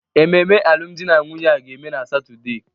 ememe alụmdi na nwunye a ga-eme na Satọde